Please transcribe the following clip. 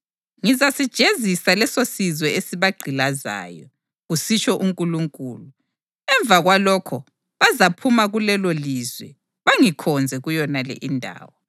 Ngizasijezisa lesosizwe esibagqilazayo,’ + 7.7 UGenesisi 15.13-14 kusitsho uNkulunkulu, ‘emva kwalokho bazaphuma kulelolizwe bangikhonze kuyonale indawo.’